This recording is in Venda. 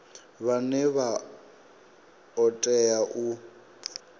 vhane vha o tea u